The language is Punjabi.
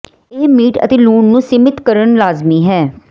ਇਹ ਮੀਟ ਅਤੇ ਲੂਣ ਨੂੰ ਸੀਮਿਤ ਕਰਨ ਲਾਜ਼ਮੀ ਹੈ